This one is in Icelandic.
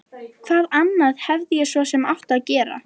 Hvað annað hefði ég svo sem átt að gera?